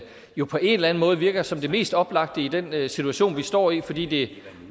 jo på en eller anden måde virker som det mest oplagte i den situation vi står i fordi det